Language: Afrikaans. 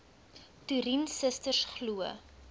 toerien susters glo